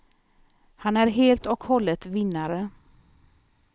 Han är helt och hållet vinnare.